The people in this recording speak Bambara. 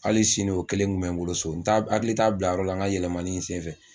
Hali sini o kelen tun bɛ n bolo so n t'a n hakili t'a bilayɔrɔ la n ka yɛlɛmani in senfɛ